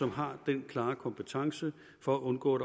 har den klare kompetence for at undgå at